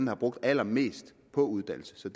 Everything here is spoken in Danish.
har brugt allermest på uddannelse så